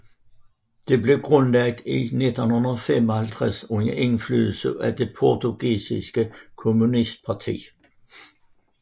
Det blev grundlagt i 1955 under indflydelse af det portugisiske kommunistparti